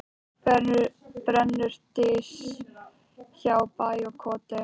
Brennur dys hjá bæ og koti.